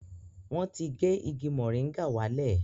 Wọ́n ti gé igi mọ́rìngà wá lẹ̀